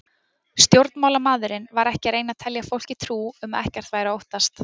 Stjórnmálamaðurinn var ekki að reyna að telja fólki trú um að ekkert væri að óttast.